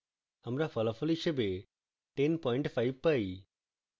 আমরা ফলাফল হিসাবে 105 পাই